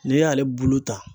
N'i y'ale bulu ta.